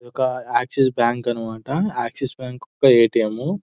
ఇదొక Axis bank అన్నమాట Axis bank ఒక ఎ.టి.ఎం .